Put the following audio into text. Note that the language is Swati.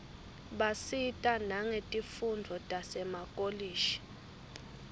basita nangetifundvo tasemakolishi